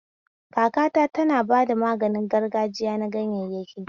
Kakata tana bada maganin gargajiya na ganyayyaki